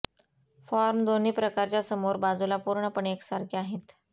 form दोन्ही प्रकारच्या समोर बाजूला पूर्णपणे एकसारखे आहेत